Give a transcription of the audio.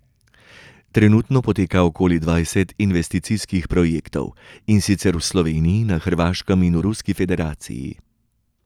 Trenutno poteka okoli dvajset investicijskih projektov, in sicer v Sloveniji, na Hrvaškem in v Ruski federaciji.